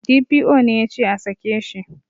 D.P.O ne yace a sake shi